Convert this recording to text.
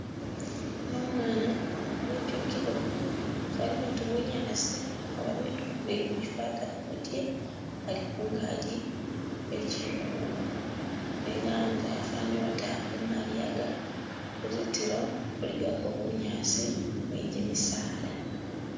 Uno umwana nga etyukile bwafanile uti bunyasi oba biitu bili muchifata kumutye ali kungagi khechikungu nenga hanze hafanile uti hali kumaliyaga kuzitilo kuligako bunyasi ni gimisaala.